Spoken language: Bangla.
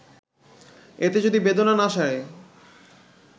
এতে যদি বেদনা না সারে